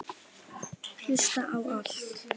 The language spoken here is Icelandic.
Hlusta á allt!!